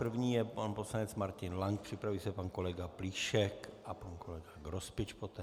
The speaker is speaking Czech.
První je pan poslanec Martin Lank, připraví se pan kolega Plíšek a pan kolega Grospič poté.